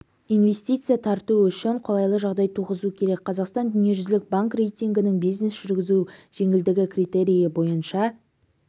инвестиция тарту үшін қолайлы жағдай туғызу керек қазақстан дүниежүзілік банк рейтингінің бизнес жүргізу жеңілдігі критерийі бойынша